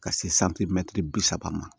Ka se bi saba ma